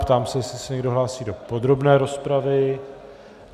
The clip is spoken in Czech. Ptám se, jestli se někdo hlásí do podrobné rozpravy.